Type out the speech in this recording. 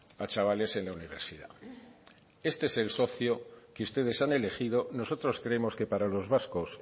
a chavales en la universidad este es el socio que ustedes han elegido nosotros creemos que para los vascos